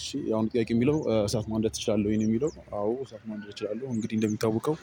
እሺ ያሁኑ ጥያቄ የሚለው እሳት ማንደድ ትችላለህ ወይ ነው? የሚለው አዎ እሳት ማንደድ እችላለሁ እንግዲህ እንደሚታወቀው